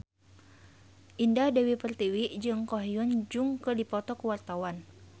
Indah Dewi Pertiwi jeung Ko Hyun Jung keur dipoto ku wartawan